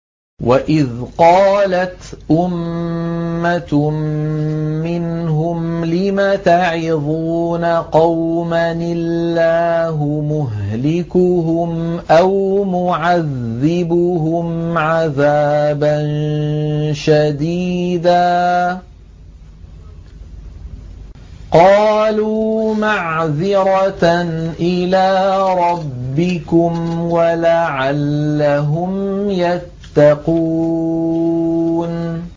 وَإِذْ قَالَتْ أُمَّةٌ مِّنْهُمْ لِمَ تَعِظُونَ قَوْمًا ۙ اللَّهُ مُهْلِكُهُمْ أَوْ مُعَذِّبُهُمْ عَذَابًا شَدِيدًا ۖ قَالُوا مَعْذِرَةً إِلَىٰ رَبِّكُمْ وَلَعَلَّهُمْ يَتَّقُونَ